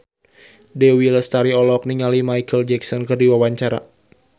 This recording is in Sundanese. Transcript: Dewi Lestari olohok ningali Micheal Jackson keur diwawancara